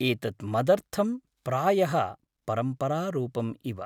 एतत् मदर्थम् प्रायः परम्परारूपम् इव।